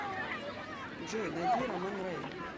джой найди роман рэйн